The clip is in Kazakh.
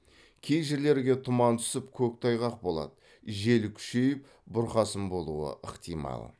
кей жерлерге тұман түсіп көктайғақ болады жел күшейіп бұрқасын болуы ықтимал